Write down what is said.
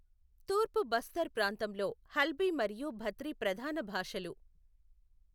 తూర్పు బస్తర్ ప్రాంతంలో హల్బీ మరియు భత్రి ప్రధాన భాషలు.